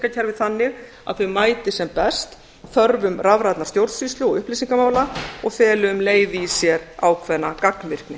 kerfi þannig að þau mæti sem best þörfum rafrænnar stjórnsýslu og upplýsingamála og feli um leið í sér ákveðna gagnvirkni